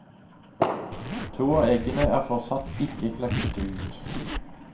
To av eggene er fortsatt ikke klekket ut.